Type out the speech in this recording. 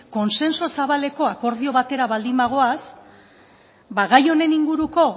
kontsensu zabaleko akordio batera baldin bagoaz ba gai honen inguruko